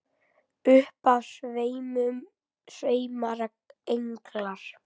Upp af sveima englar.